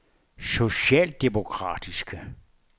socialdemokratiske